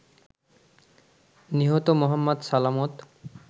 নিহত মো. সালামত